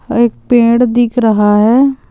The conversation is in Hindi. एक पेड़ दिख रहा है।